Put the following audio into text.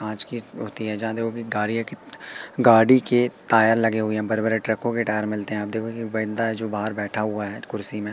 आज की गाड़ियों के गाड़ी के टायर लगे हुए हैं बड़े बड़े ट्रकों के मिलते हैं आप देखोगे कि एक बंदा है जो बाहर बैठा हुआ है कुर्सी में।